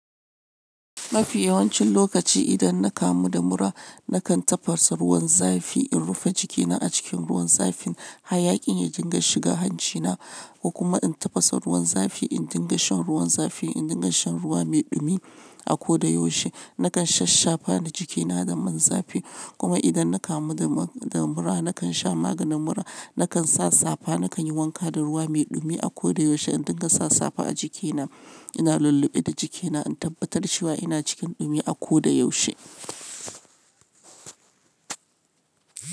Mafi yawancin lokaci idan na kamu da mura nakan tafasa ruwan zafi, in rufe jikina a cikin ruwan zafin hayakin, ya dinga shiga hancina, kuma in tafasa ruwan zafi in dinga shan ruwan zafi, in dinga shan ruwa mai dumi a koda yaushe. Nakan shash shafa da jikina domin zafi. Kuma idan na kamu da mura nakan sha maganin mura, nakan sa safa, nakan yi wanka da ruwa mai ɗumi a koda yaushe in dinga sa safa a jikina. Ina lullube da jikina in tabbatar cewa ina cikin dumi a koda yaushe.